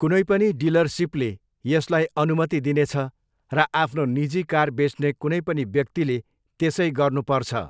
कुनै पनि डिलरसिपले यसलाई अनुमति दिनेछ र आफ्नो निजी कार बेच्ने कुनै पनि व्यक्तिले त्यसै गर्नुपर्छ।